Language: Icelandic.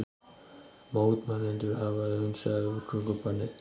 Mótmælendur hafa hunsað útgöngubannið